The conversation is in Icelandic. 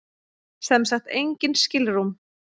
Sem sagt engin skilrúm.